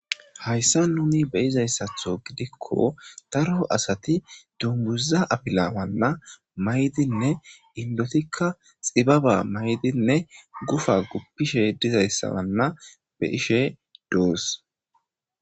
hayssa nuni beyizayssatho gidikko daro asati dunguza abila manna maydinne inlotikka xibaba maydinne gufa guppishe dizayssabanna be Isherwood duus